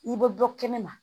I bɛ bɔ kɛnɛma